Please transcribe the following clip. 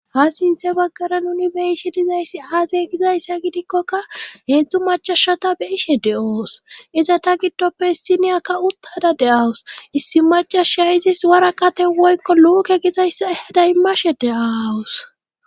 Ha sinthe baggara nuni be'iishe dizayssi aazey gizayssa gidikkoka heedzdzu macashata beishe de'oos iza ta giddoppe issiniyakka uttada deawus issi macasha izis wara kate woykko luuke gizayssa daymashe de'awus.